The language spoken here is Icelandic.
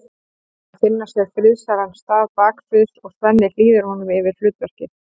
Þeir finna sér friðsælan stað baksviðs og Svenni hlýðir honum yfir hlutverkið.